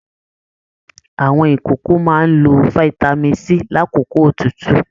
Àwọn ìkókó máa n ló fitami C lakoko otutu.